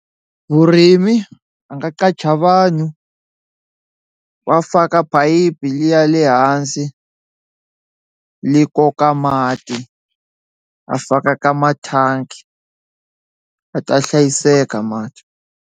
Vurimi a nga qacha vanhu va faka phayiphi liya le hansi li koka mati a faka ka mathangi a ta hlayiseka mati.